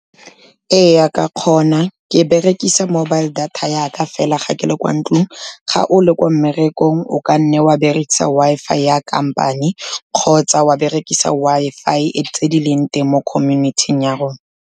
Ee ke ya kgona, ke berekisa mobile data ya ka fela ga ke le kwa ntlong, ga o le ko mmerekong o ka nne wa berekisa Wi-Fi ya kampane kgotsa wa berekisa Wi-Fi tse dileng teng mo community-ing ya rona.